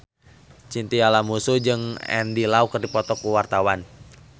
Chintya Lamusu jeung Andy Lau keur dipoto ku wartawan